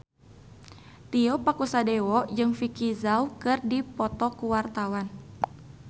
Tio Pakusadewo jeung Vicki Zao keur dipoto ku wartawan